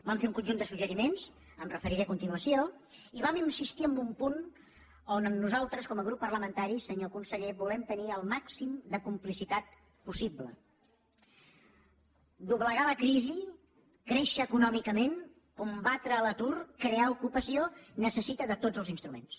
vam fer un conjunt de suggeriments m’hi referiré a continuació i vam insistir en un punt on nosaltres com a grup parlamentari senyor conseller volem tenir el màxim de complicitat possible doblegar la crisi créixer econòmicament combatre l’atur crear ocupació necessita tots els instruments